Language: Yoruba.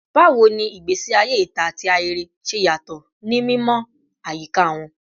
Bawo ni igbesi aye ita ati ahere ṣe yatọ ni mimọ ayika wọn?